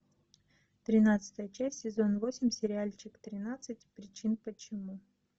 тринадцатая часть сезон восемь сериальчик тринадцать причин почему